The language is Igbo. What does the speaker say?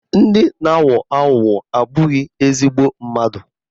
Ndị na-aghọ aghụghọ abụghị ezigbo mmadụ